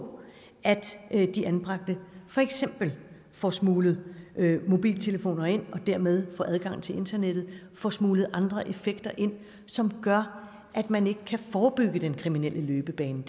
at de anbragte for eksempel får smuglet mobiltelefoner ind og dermed får adgang til internettet de får smuglet andre effekter ind som gør at man ikke kan forebygge den kriminelle løbebane